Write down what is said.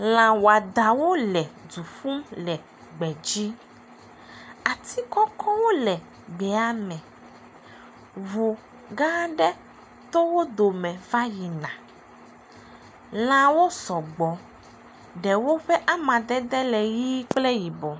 Lãwɔdawo le du ƒum le gbe dzi. Ati kɔkɔ wole gbea me, ŋu gã aɖe to wodo me va yina. Lãwo sɔgbɔ, eɖewo ƒe amadede le ʋi kple yibɔ.